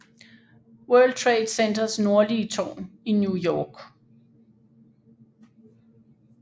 World Trade Centers nordlige tårn i New York